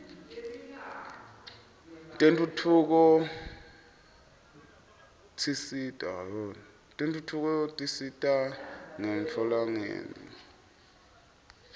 tentfutfuko tsisita ngetntfoletingenti